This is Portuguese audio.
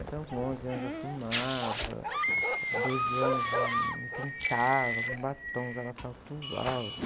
Então, com onze anos eu já fumava, com doze anos eu me pintava, punha batons, usava salto alto.